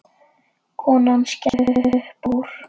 Konan skellti upp úr.